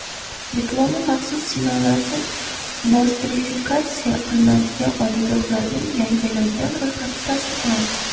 Diplomi maxsus sinovlarsiz nostrifikatsiya qilinadigan oliygohlarning yangilangan ro‘yxati tasdiqlandi.